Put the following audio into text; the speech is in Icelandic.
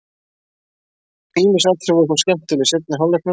Ýmis atriði voru þó skemmtileg í seinni hálfleiknum.